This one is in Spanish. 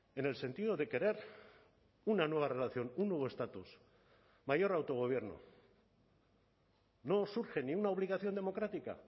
en el sentido de querer una nueva relación un nuevo estatus mayor autogobierno no os urge ni una obligación democrática